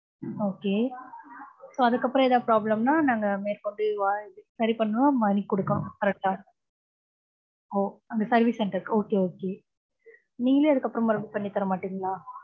okay so அதுக்கப்புறம் எதாவது problem ன்னா, நாங்க மேற்கொண்டு, சரி பண்ணுவோம், money கொடுக்கணும். correct அ ஓ, அந்த service center க்கு, okay, okay நீங்களே, அதுக்கப்புறம், பண்ணித் தர மாட்டீங்களா?